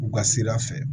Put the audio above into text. U ka sira fɛ